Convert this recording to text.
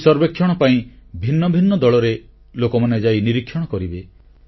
ଏହି ସର୍ବେକ୍ଷଣ ପାଇଁ ଭିନ୍ନ ଭିନ୍ନ ଦଳରେ ଲୋକମାନେ ଯାଇ ନିରୀକ୍ଷଣ କରିବେ